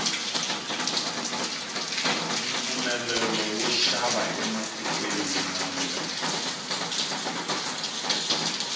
mpfumelelo wo xava ematikweni mambe